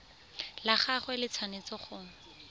la gagwe le tshwanetse go